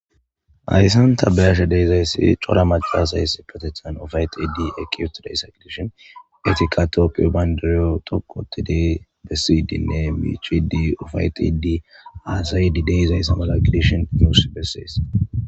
Ayssan tabeyashe deezayssi cora macalas ayss patetan ofaytidi ekieto day saglishon etika toopiyo baynderiyo tokotidi bessiydinne miichi di ofaytidii aasay di dezayss malagidishon yuus bessees.